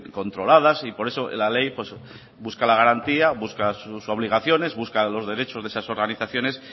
controladas y por eso la ley busca la garantía busca sus obligaciones busca los derechos de esas organizaciones